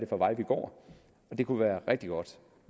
for veje vi går det kunne være rigtig godt